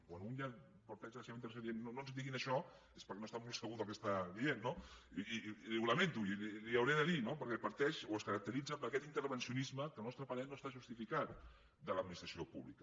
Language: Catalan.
quan un ja parteix en la seva intervenció dient no ens ho diguin això és perquè no està molt segur del que està dient no i ho lamento i li ho hauré de dir perquè parteix o es caracteritza per aquest intervencionisme que al nostre parer no està justificat de l’administració pública